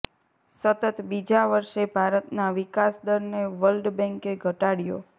સતત બીજા વર્ષે ભારતના વિકાસ દરને વર્લ્ડ બેંકે ઘટાડ્યો